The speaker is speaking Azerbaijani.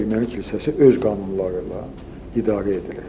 Erməni kilsəsi öz qanunları ilə idarə edilir.